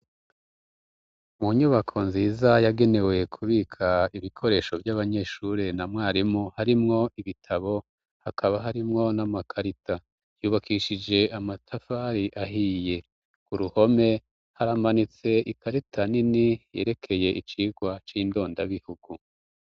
Mu nyubako nziza yagenewe kubika ibikoresho vy'abanyeshure na mwarimu harimwo ibitabo hakaba harimwo n'amakarita, yubakishije amatafari ahiye, ku ruhome haramanitse ikarita nini yerekeye icigwa c'indondabihugu.